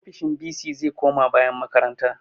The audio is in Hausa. Ofisoshin bc zai koma bayan makaranta